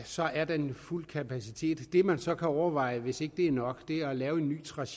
så er der fuld kapacitet det man så kan overveje hvis ikke det er nok er at lave en ny tracé